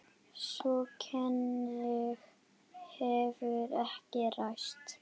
Sú kenning hefur ekki ræst.